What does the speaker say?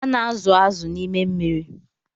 A na-azụ̀ azụ̀ na n'ime mmiri.